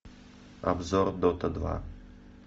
обзор дота два